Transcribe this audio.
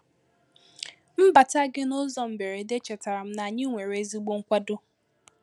Mbata gị n’ụzọ mberede chetara m na anyị nwere ezigbo nkwàdọ.